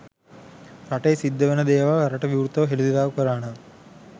රටේ සිද්ධ වෙන දේවල් රටට විවෘතව හෙළිදරව් කළා නම්